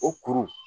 O kuru